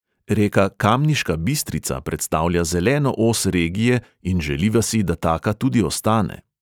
Reka kamniška bistrica predstavlja zeleno os regije in želiva si, da taka tudi ostane.